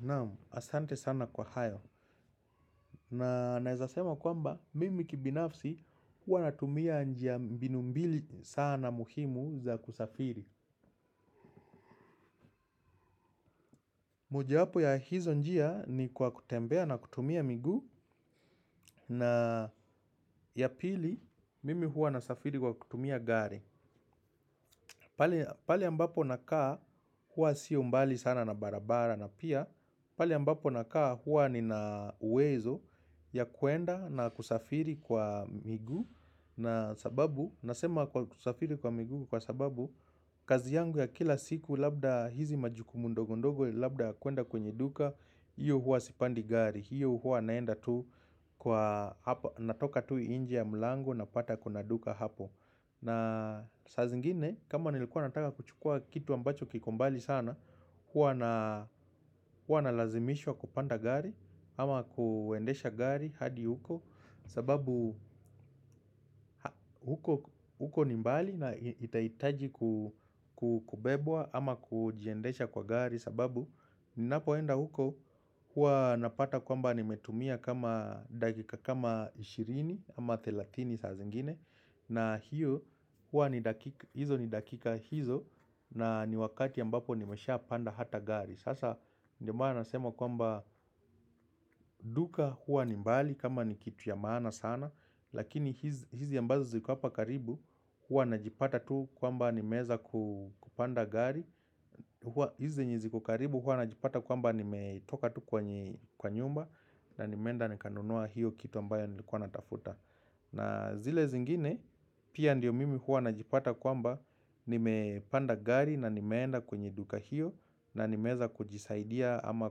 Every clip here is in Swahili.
Naam, asante sana kwa hayo. Na naweza sema kwamba, mimi kibinafsi huwa natumia njia, mbinu mbili sana muhimu za kusafiri. Mojawapo ya hizo njia ni kwa kutembea na kutumia miguu na ya pili, mimi huwa nasafiri kwa kutumia gari. Pale ambapo nakaa huwa sio mbali sana na barabara na pia pale ambapo nakaa huwa nina uwezo ya kwenda na kusafiri kwa miguu na sababu, nasema kusafiri kwa miguu kwa sababu kazi yangu ya kila siku labda hizi majukumu ndogo ndogo labda kuenda kwenye duka. Hiyo huwa sipandi gari, hiyo huwa naenda tu kwa, natoka tu nje ya mlango napata kuna duka hapo. Na saa zingine kama nilikuwa nataka kuchukua kitu ambacho kiko mbali sana huwa huwa nalazimishwa kupanda gari ama kuendesha gari hadi huko, sababu huko ni mbali na itahitaji kubebwa ama kujiendesha kwa gari sababu ninapoenda huko huwa napata kwamba nimetumia kama dakika kama ishirini ama thelathini saa zingine, na hiyo huwa, ni dakika hizo na ni wakati ambapo nimeshapanda hata gari, sasa ndio maana nasema kwamba duka huwa ni mbali kama ni kitu ya maana sana Lakini hizi ambazo ziko hapa karibu huwa najipata tu kwamba nimeweza kupanda gari. Hizi zenye ziko karibu huwa najipata kwamba nimetoka tu kwa nyumba. Na nimeenda nikanunua hiyo kitu ambayo nilikuwa natafuta. Na zile zingine pia ndio mimi huwa najipata kwamba nimepanda gari na nimeenda kwenye duka hiyo na nimeweza kujisaidia ama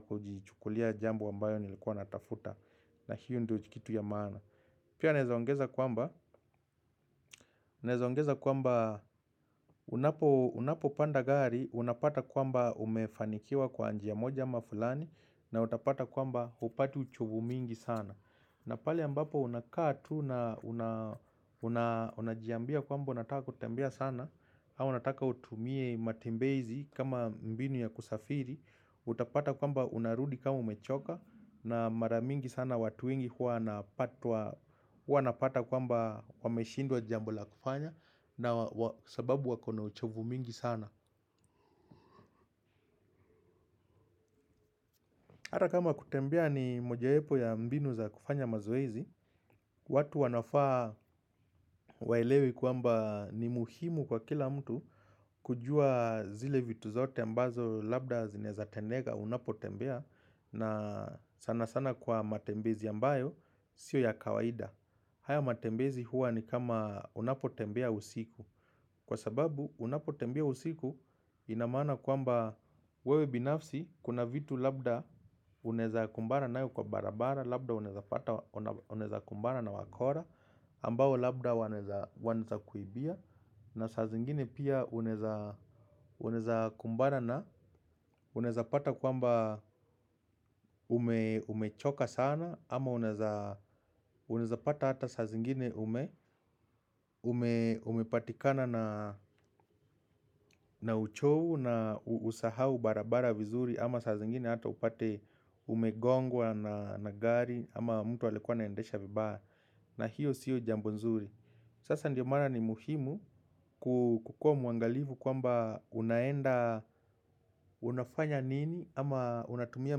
kujichukulia jambo ambayo nilikuwa natafuta na hiyo ndio kitu ya maana. Pia naweza ongeza kwamba unapopanda gari unapata kwamba umefanikiwa kwa njia moja ama fulani na utapata kwamba hupati uchovu mingi sana. Na pale ambapo unakaa tu na unajiambia kwamba unataka kutembea sana au unataka utumie matembezi kama mbinu ya kusafiri utapata kwamba unarudi kama umechoka na mara mingi sana watu wengi huwa wanapata kwamba wameshindwa jambo la kufanya na sababu wako na uchovu mingi sana. Hata kama kutembea ni mojawapo ya mbinu za kufanya mazoezi watu wanafaa waelewe kwamba ni muhimu kwa kila mtu kujua zile vitu zote ambazo labda zinaweza tendeka unapotembea na sana sana kwa matembezi ambayo sio ya kawaida. Haya matembezi huwa ni kama unapotembea usiku. Kwa sababu unapotembea usiku ina maana kwamba wewe binafsi kuna vitu labda unaweza kumbana nayo kwa barabara, labda unaweza kumbana na wakora ambao labda wanaweza kuibia na saa zingine pia unaweza kumbana na, unaweza pata kwamba umechoka sana ama unaweza pata hata saa zingine umepatikana na uchovu na usahau barabara vizuri. Ama saa zingine hata upate umegongwa na gari ama mtu alikuwa anaendesha vibaya na hiyo sio jambo nzuri. Sasa ndio maana ni muhimu kukuwa mwangalifu kwamba unaenda, unafanya nini ama unatumia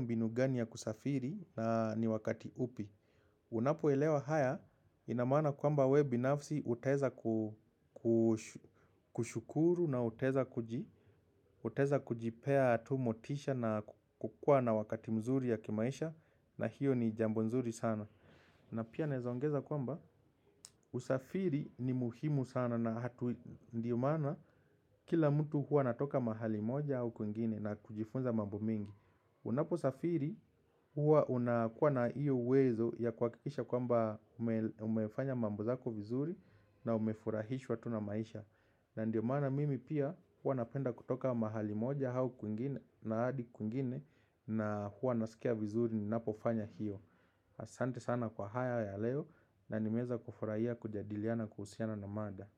mbinu gani ya kusafiri na ni wakati upi. Unapoelewa haya ina maana kwamba wewe binafsi utaweza kushukuru na utaweza kujipea tu motisha na kukuwa na wakati mzuri ya kimaisha na hiyo ni jambo nzuri sana. Na pia naweza ongeza kwamba usafiri ni muhimu sana na ndio maana kila mtu huwa anatoka mahali moja au kwingine na kujifunza mambo mengi. Unaposafiri huwa unakuwa na ihyo uwezo ya kuhakikisha kwamba umefanya mambo zako vizuri na umefurahishwa tu na maisha. Na ndio maana mimi pia huwa napenda kutoka mahali moja au kwingine na hadi kwingine na huwa nasikia vizuri ninapofanya hiyo. Asante sana kwa haya ya leo na nimeweza kufurahia kujadiliana kuhusiana na mada.